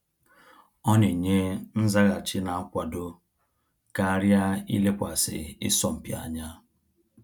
Ọ na enye nzaghachi n'akwado karịa ilekwasị isọmpi anya